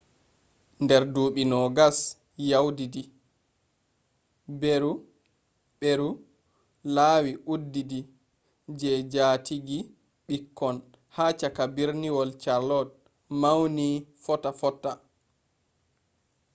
nder ɗuɓɓi 20 yawtidi ɓeru laawi uɗɗitidi je jaatigi-ɓikkon ha cakka berniwol charlotte mawni fotta fotta